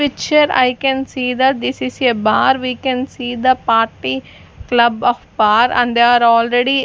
picture i can see the this is a bar we can see the party club of far and they are already--